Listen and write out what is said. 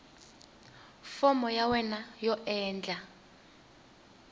fomo ya wena yo endla